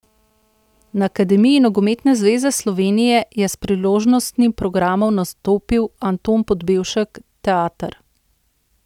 Na Akademiji Nogometne zveze Slovenije je s priložnostnim programom nastopil Anton Podbevšek teater.